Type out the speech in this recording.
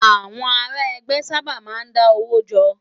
Awòn àrá ègbè sàbá má n dá ówó jò